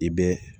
I bɛ